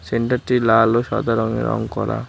সেন্টারটি লাল ও সাদা রঙে রং করা।